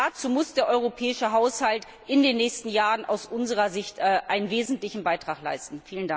Und dazu muss der europäische Haushalt in den nächsten Jahren aus unserer Sicht einen wesentlichen Beitrag leisten.